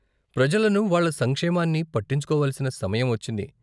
ప్రజలను, వాళ్ళ సంక్షేమాన్ని పట్టించుకోవలసిన సమయం వచ్చింది.